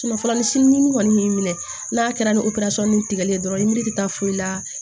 fura ni sini kɔni y'i minɛ n'a kɛra ni opersɔni tigɛlen dɔrɔn ye miiri da foyi la